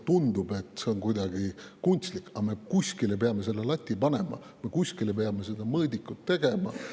Tundub, et see on kuidagi kunstlik, aga kuskile me peame selle lati panema, kuidagi me peame mõõdiku tegema.